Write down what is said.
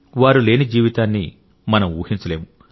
వారు లేని జీవితాన్ని మనం ఊహించలేము